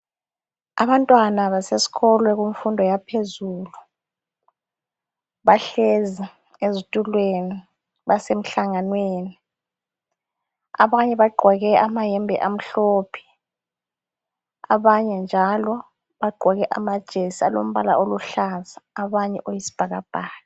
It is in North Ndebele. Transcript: Abantwana basesikolo kumfundo yaphezulu, bahlezi ezitulweni basemhlanganweni. Abanye bagqoke amayembe amhlophe abanye njalo bagqoke amajesi alombala oluhlaza abanye oyisibhakabhaka